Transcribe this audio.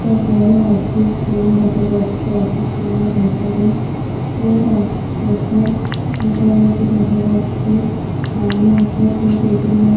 একটা বড় office room দেখা যাচ্ছে। অফিস রুম -এর ভিতরে এক সোফা পাতা রয়েছে দেখা যাচ্ছে। সামনে একটা টী টেবিল রয়ে--